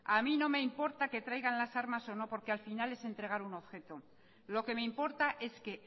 a mí no me importa que traigan las armas o no porque al final es entregar un objeto lo que me importa es que